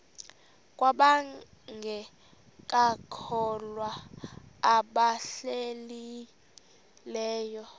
kwabangekakholwa nabahlehli leyo